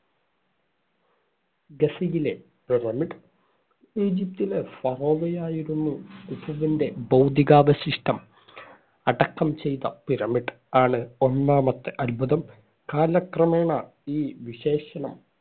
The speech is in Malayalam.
ഗിസയിലെ pyramid ഈജിപ്റ്റിലെ ഫറോവയായിരുന്ന കുഫുവിന്‍റെ ഭൗതികാവശിഷ്ടം അടക്കം ചെയ്ത pyramid ആണ് ഒന്നാമത്തെ അത്ഭുതം. കാലക്രമേണ ഈ വിശേഷണം